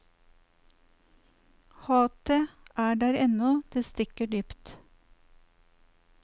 Hatet er der ennå, det stikker dypt.